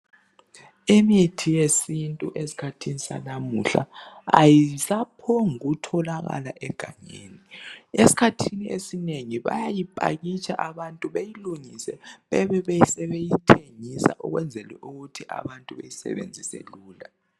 Imithi yesintu eskhathini sanamuhla ayisa phombuku tholakala egangeni .Eskhathini esinengi bayayi pakitsha abantu beyilungise bebeseyithengisa ukwenzelu kuthi abantu besebenzise lula .